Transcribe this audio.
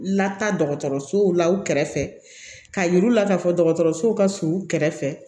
Lata dɔgɔtɔrɔsow la u kɛrɛfɛ k'a yir'u la k'a fɔ dɔgɔtɔrɔso ka surun u kɛrɛfɛ